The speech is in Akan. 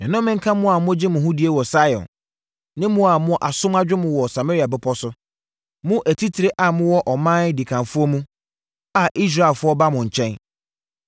Nnome nka mo a mogye mo ho die wɔ Sion, ne mo a mo asom adwo mo wɔ Samaria bepɔ so, mo atitire a mowɔ ɔman dikanfoɔ mu, a Israelfoɔ ba mo nkyɛn!